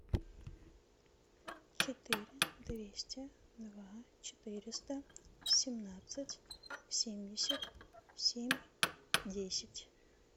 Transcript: четыре двести два четыреста семнадцать семьдесят семь десять